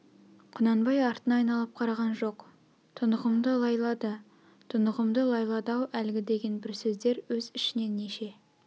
құнанбай артына айналып қараған жоқ тұнығымды ылайлады тұнығымды лайлады-ау әлгі деген бір сөздер өз ішінен неше